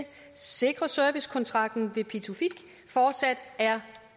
sikre at servicekontrakten ved pituffik fortsat er